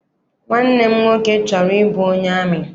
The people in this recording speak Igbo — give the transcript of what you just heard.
Nwanne m nwoke chọrọ ịbụ onye amị.